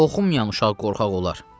Oxumayan uşaq qorxaq olar.